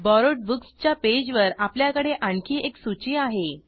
borrowed books च्या पेजवर आपल्याकडे आणखी एक सूची आहे